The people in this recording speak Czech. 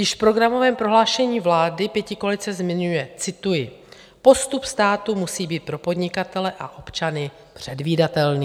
Již v programovém prohlášení vlády pětikoalice zmiňuje, cituji: "Postup státu musí být pro podnikatele a občany předvídatelný."